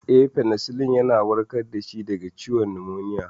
Eh, Fenisilin ya warkar da shi daga ciwon numoniya.